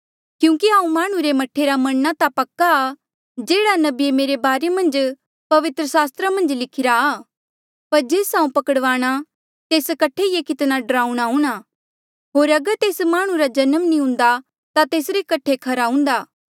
क्यूंकि हांऊँ माह्णुं रे मह्ठे रा मरणा ता पक्का आ जेह्ड़ा नबिये मेरे बारे पवित्र सास्त्रा मन्झ लिखिरा आ पर जेस हांऊँ पकड़वाणा तेस कठे ये कितना ड्राऊणा हुणा होर अगर तेस माह्णुं रा जन्म नी हुन्दा ता तेसरे कठे खरा हुन्दा